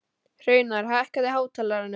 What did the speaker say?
Hraunar, hækkaðu í hátalaranum.